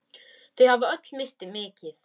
Þau hafa öll misst mikið.